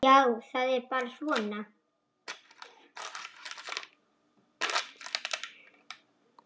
Já, það er bara svona.